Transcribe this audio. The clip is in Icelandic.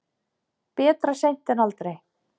Betra seint en aldrei.